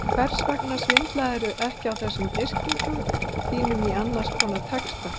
Hvers vegna svindlarðu ekki þessum yrkingum þínum inn í annars konar texta?